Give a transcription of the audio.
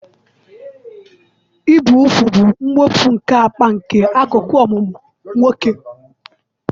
Ibi úgwù bụ mwepụ nke apị nke akụkụ ọmụmụ nwoke.